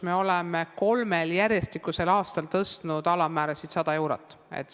Me oleme kolmel järjestikusel aastal tõstnud alammäärasid 100 eurot.